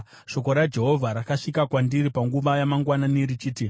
Shoko raJehovha rakasvika kwandiri panguva yamangwanani richiti,